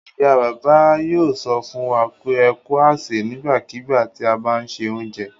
Ìyá-bàbá yóò sọ fún wa pé "ẹ kú àsè" nígbàkigbà tí a bá ń se oúnjẹ.